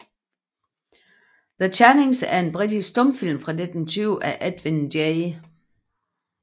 The Channings er en britisk stumfilm fra 1920 af Edwin J